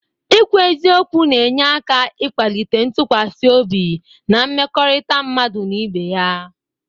Ikwu eziokwu na-enye aka ikwalite ntụkwasị obi na mmekọrịta mmadụ n'ibe ya.